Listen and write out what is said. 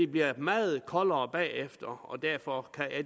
bliver meget koldere bagefter og derfor